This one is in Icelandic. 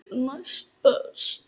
Næst best.